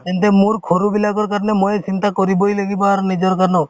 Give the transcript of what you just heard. তেন্তে মোৰ ঘৰৰ বিলাকৰ কাৰণে ময়ে চিন্তা কৰিবই লাগিব আৰু নিজৰ কাৰণেও